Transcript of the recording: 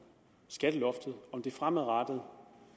det fremadrettet